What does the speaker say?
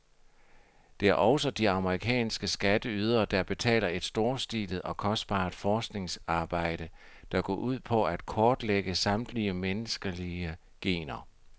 Det er også de amerikanske skatteydere, der betaler et storstilet og kostbart forskningsarbejde, der går ud på at kortlægge samtlige menneskelige gener.